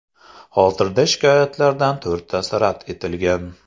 Hozirda shikoyatlardan to‘rttasi rad etilgan.